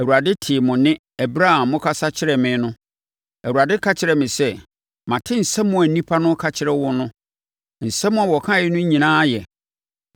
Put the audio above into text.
Awurade tee mo nne ɛberɛ a mokasa kyerɛɛ me no, Awurade ka kyerɛɛ me sɛ, “Mate nsɛm a nnipa ka kyerɛɛ wo no. Nsɛm a wɔkaaeɛ no nyinaa yɛ.